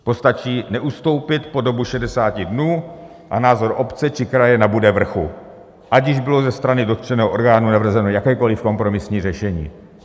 Postačí neustoupit po dobu 60 dnů a názor obce či kraje nabude vrchu, ať již bylo ze strany dotčeného orgánu navrženo jakékoli kompromisní řešení.